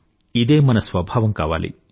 ఇదే మన స్వభావం కావాలి